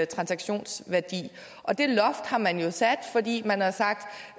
transaktionsværdi og det loft har man jo sat fordi man har sagt